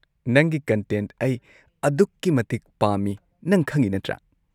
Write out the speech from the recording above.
ꯅꯪꯒꯤ ꯀꯟꯇꯦꯟꯠ ꯑꯩ ꯑꯗꯨꯛꯀꯤ ꯃꯇꯤꯛ ꯄꯥꯝꯃꯤ ꯅꯪ ꯈꯪꯉꯤ ꯅꯠꯇ꯭ꯔꯥ?